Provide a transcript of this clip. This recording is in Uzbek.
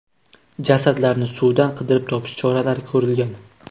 Jasadlarni suvdan qidirib topish choralari ko‘rilgan.